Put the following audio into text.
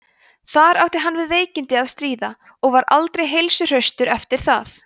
þar átti hann við veikindi að stríða og var aldrei heilsuhraustur eftir það